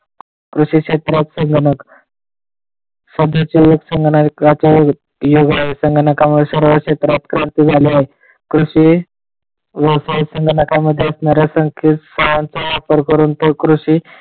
कृषी क्षेत्रात संगणक सद्याचे युग संगणकाचे युग आहे त्यांना कामे सर्व क्षेत्रात झाले आहे. कृषी व संगणक असणाऱ्या कामाच्या संख्येत वापर करून कृषी,